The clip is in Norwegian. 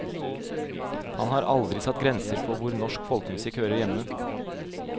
Han har aldri satt grenser for hvor norsk folkemusikk hører hjemme.